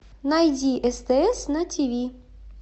найди стс на тиви